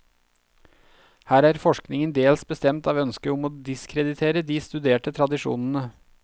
Her er forskningen dels bestemt av ønsket om å diskreditere de studerte tradisjonene.